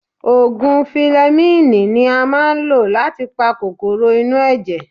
Òògùn filẹmíìnì ni a máa ń lò láti pa kòkòrò inú ẹ̀jẹ̀.